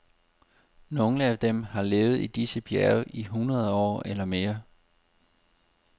Nogle af dem har levet i disse bjerge i hundrede år eller mere.